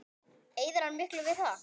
Eyðir hann miklu við það?